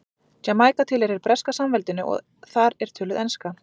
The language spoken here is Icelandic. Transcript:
Jamaíka tilheyrir Breska samveldinu og þar er töluð enska.